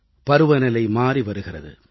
பருவநிலை மாறி வருகிறது